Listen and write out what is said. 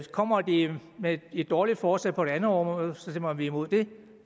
kommer de med et dårligt forslag på et andet område stemmer vi imod det